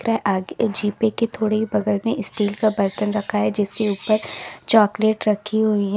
आगे के जीपे के थोड़ी बगल में स्टील का बर्तन रखा है जिसके ऊपर चॉकलेट रखी हुई है।